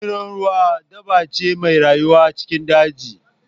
Dorunar ruwa dabbar ce mai rayuwa cikin daji.